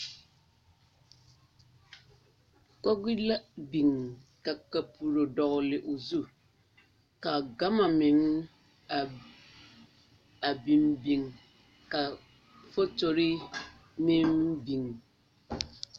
Kogri la biŋ ka kapuro dɔgle o zu ka gama meŋ a biŋ biŋ ka fotori meŋ biŋ